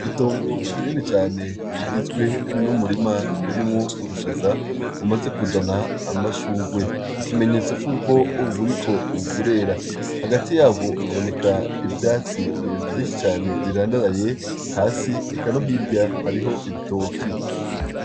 Itongo rinini cane rigizwe n'umurima urimwo ubushaza bumaze kuzana amashugwe, ikimenyetso cuko buriko burera. Hagati ntabwo haboneka ivyatsi vyinshi birandaraye hasi, eka no hirya hariho ibitoki.